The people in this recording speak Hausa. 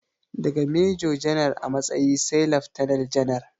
Daga mejo janar a matsayi sai laftanal janar